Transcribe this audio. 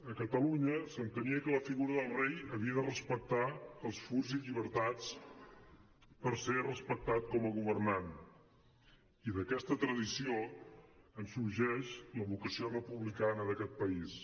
a catalunya s’entenia que la figura del rei havia de respectar els furs i llibertats per ser respectat com a governant i d’aquesta tradició en sorgeix la vocació republicana d’aquest país